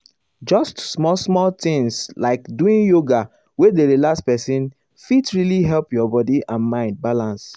just small-small things like doing yoga wey dey relax person fit really help your body and mind balance.